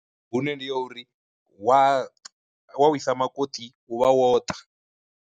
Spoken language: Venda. Hune ndi ya uri wa wa wisa makoṱi u vha wo ṱa.